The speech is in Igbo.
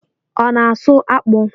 Ọ na asụ akpụ?